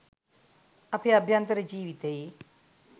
අපේ අභ්‍යන්තර ජීවිතයේ